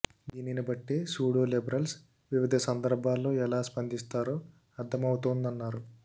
దీనిని బట్టే pseudo liberals వివిధ సందర్భాలలో ఎలా స్పందిస్తారో అర్థమవుతోందన్నారు